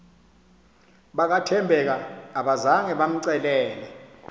bakathembeka abazanga bamcelele